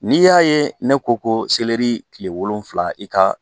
N'i y'a ye ne ko ko selri kile wolonfila i ka